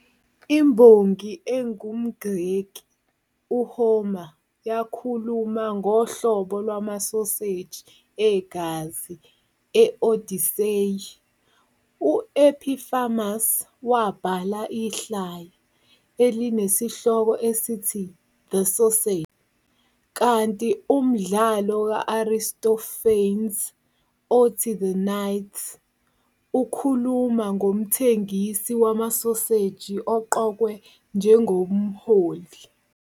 Imbongi engumGreki uHomer yakhuluma ngohlobo lwamasoseji egazi e- "Odyssey", u- Epicharmus wabhala ihlaya "elinesihloko esithi The Sausage", kanti umdlalo ka- Aristophanes "othi The Knights" ukhuluma ngomthengisi wamasoseji oqokwe njengomholi.